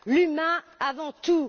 L'humain avant tout!